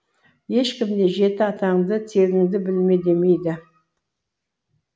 ешкім де жеті атаңды тегіңді білме демейді